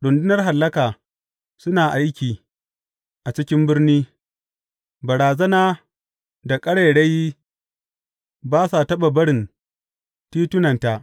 Rundunar hallaka suna aiki a cikin birni; barazana da ƙarairayi ba sa taɓa barin titunanta.